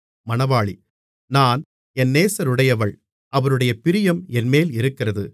நான் என் நேசருடையவள் அவருடைய பிரியம் என்மேல் இருக்கிறது